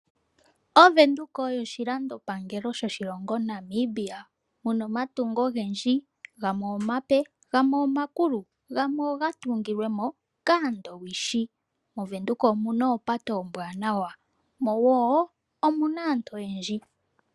OVenduka oyo oshilandopangelo shaNamibia muna omatungo ogendji omape nomakulu, gamwe oga tungilwe kaandowishi. Omuna wo aantu oyendji.